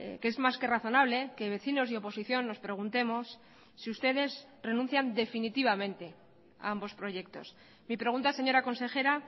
que es más que razonable que vecinos y oposición nos preguntemos si ustedes renuncian definitivamente a ambos proyectos mi pregunta señora consejera